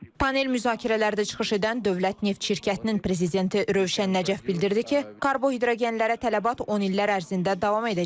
Panel müzakirələrdə çıxış edən Dövlət Neft Şirkətinin prezidenti Rövşən Nəcəf bildirdi ki, karbohidrogenlərə tələbat 10 illər ərzində davam edəcək.